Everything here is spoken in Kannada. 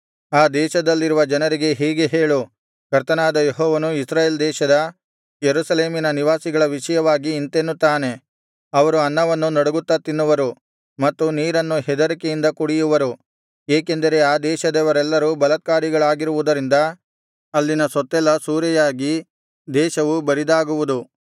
ಆ ದೇಶದಲ್ಲಿರುವ ಜನರಿಗೆ ಹೀಗೆ ಹೇಳು ಕರ್ತನಾದ ಯೆಹೋವನು ಇಸ್ರಾಯೇಲ್ ದೇಶದ ಯೆರೂಸಲೇಮಿನ ನಿವಾಸಿಗಳ ವಿಷಯವಾಗಿ ಇಂತೆನ್ನುತ್ತಾನೆ ಅವರು ಅನ್ನವನ್ನು ನಡಗುತ್ತಾ ತಿನ್ನುವರು ಮತ್ತು ನೀರನ್ನು ಹೆದರಿಕೆಯಿಂದ ಕುಡಿಯುವರು ಏಕೆಂದರೆ ಆ ದೇಶದವರೆಲ್ಲರು ಬಲಾತ್ಕಾರಿಗಳಾಗಿರುವುದರಿಂದ ಅಲ್ಲಿನ ಸೊತ್ತೆಲ್ಲಾ ಸೂರೆಯಾಗಿ ದೇಶವು ಬರಿದಾಗುವುದು